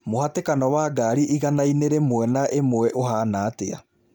mũhatĩkano wa ngari igana-inĩ rĩmwe na ĩmwe ũhaana atĩa